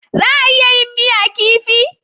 Za a iya yin miya kifi?